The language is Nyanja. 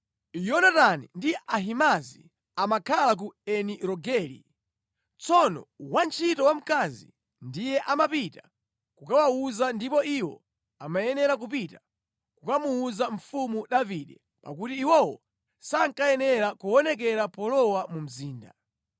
Yonatani ndi Ahimaazi amakhala ku Eni Rogeli. Tsono wantchito wamkazi ndiye amapita kukawawuza ndipo iwo amayenera kupita kukamuwuza mfumu Davide, pakuti iwowo sankayenera kuonekera polowa mu mzinda.